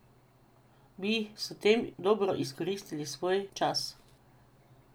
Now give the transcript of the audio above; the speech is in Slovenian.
Bi s tem dobro izkoristili svoj čas?